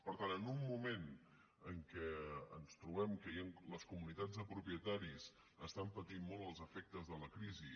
per tant en un moment en què ens trobem que les comunitats de propietaris estan patint molt els efectes de la crisi